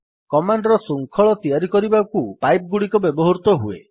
command ର ଶୃଙ୍ଖଳ ତିଆରି କରିବାକୁ ପାଇପ୍ ଗୁଡିକ ବ୍ୟବହୃତ ହୁଏ